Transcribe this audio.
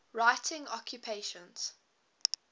writing occupations